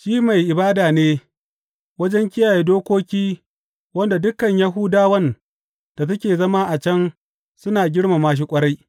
Shi mai ibada ne wajen kiyaye dokoki wanda dukan Yahudawan da suke zama a can suna girmama shi ƙwarai.